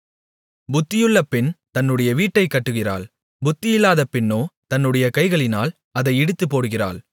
புத்தியுள்ள பெண் தன்னுடைய வீட்டைக் கட்டுகிறாள் புத்தியில்லாத பெண்ணோ தன்னுடைய கைகளினால் அதை இடித்துப்போடுகிறாள்